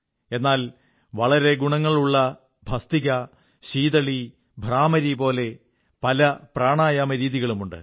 എന്നാൽ വളരെ ഗുണങ്ങളുള്ള ഭസ്ത്രികാ ശീതളീ ഭ്രാമരീ പോലെ പല പ്രാണായാമരീതികളുമുണ്ട്